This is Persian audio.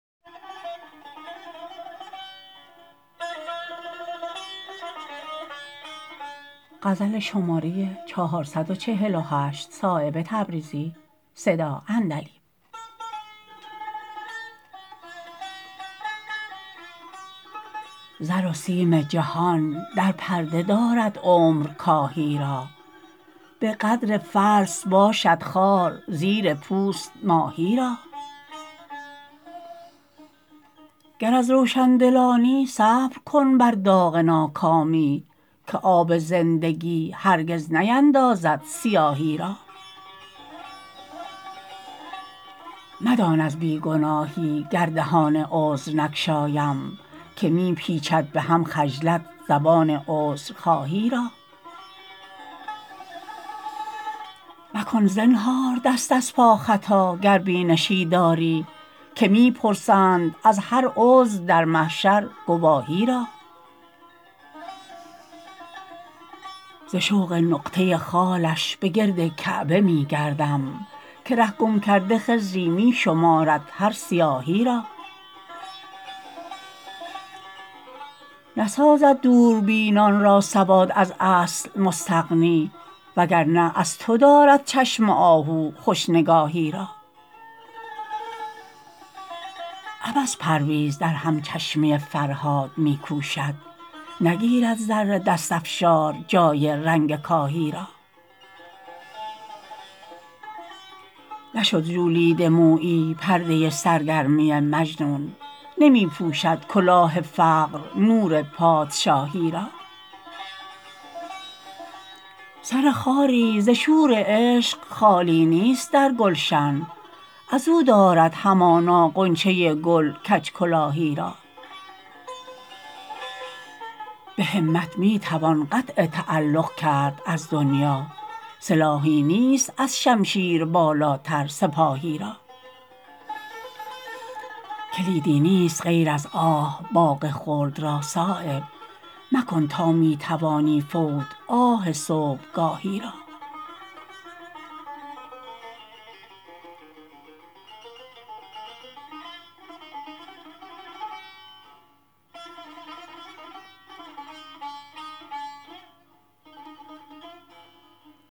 زر و سیم جهان در پرده دارد عمر کاهی را به قدر فلس باشد خار زیر پوست ماهی را گر از روشندلانی صبر کن بر داغ ناکامی که آب زندگی هرگز نیندازد سیاهی را مدان از بی گناهی گردهان عذر نگشایم که می پیچد به هم خجلت زبان عذرخواهی را مکن زنهار دست از پا خطا گر بینشی داری که می پرسند از هر عضو در محشر گواهی را ز شوق نقطه خالش به گرد کعبه می گردم که ره گم کرده خضری می شمارد هر سیاهی را نسازد دوربینان را سواد از اصل مستغنی وگرنه از تو دارد چشم آهو خوش نگاهی را عبث پرویز در همچشمی فرهاد می کوشد نگیرد زر دست افشار جای رنگ کاهی را نشد ژولیده مویی پرده سرگرمی مجنون نمی پوشد کلاه فقر نور پادشاهی را سر خاری ز شور عشق خالی نیست در گلشن ازو دارد همانا غنچه گل کج کلاهی را به همت می توان قطع تعلق کرد از دنیا سلاحی نیست از شمشیر بالاتر سپاهی را کلیدی نیست غیر از آه باغ خلد را صایب مکن تا می توانی فوت آه صبحگاهی را